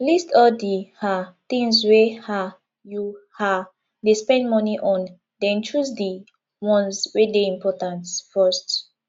list all di um things wey um you um dey spend money on then choose di ones wey dey important first